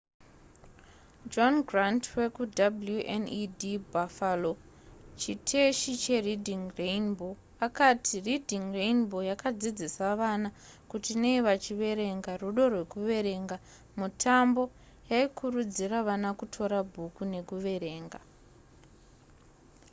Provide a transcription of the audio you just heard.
john grant wekuwned buffalo chiteshi chereading rainbow akati reading rainbow yakadzidzisa vana kuti nei vachiverenga,... rudo rwekuverenga -[mutambo] yaikurudzira vana kutora bhuku nekuverenga